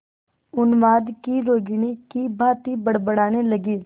उन्माद की रोगिणी की भांति बड़बड़ाने लगी